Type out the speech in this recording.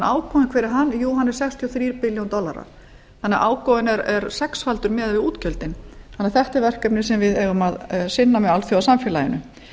ágóðinn hver er hann jú hann er sextíu og þrjú billjón dollarar þannig að ágóðinn er sexfaldur miðað við útgjöldin þannig að þetta er verkefni sem við eigum að sinna með alþjóðasamfélaginu